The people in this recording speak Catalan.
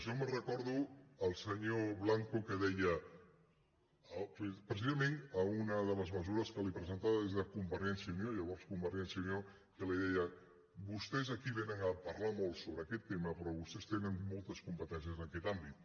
jo recordo el senyor blanco que deia precisa·ment a una de les mesures que li presentaven des de convergència i unió llavors convergència i unió que li deien vostès aquí vénen a parlar molt sobre aquest tema però vostès tenen moltes competències en aquest àmbit